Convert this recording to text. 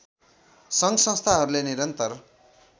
सङ्घ संस्थाहरूले निरन्तर